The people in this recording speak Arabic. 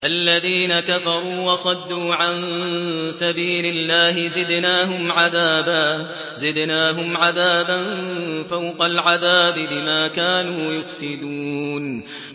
الَّذِينَ كَفَرُوا وَصَدُّوا عَن سَبِيلِ اللَّهِ زِدْنَاهُمْ عَذَابًا فَوْقَ الْعَذَابِ بِمَا كَانُوا يُفْسِدُونَ